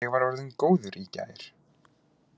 Ég var orðinn góður í gær.